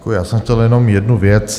Já jsem chtěl jenom jednu věc.